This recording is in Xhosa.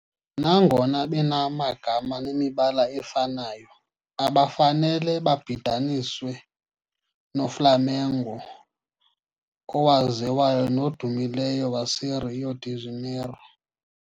Nangona benamagama nemibala efanayo, abafanele babhidaniswe noFlamengo owaziwayo nodumileyo waseRio de Janeiro.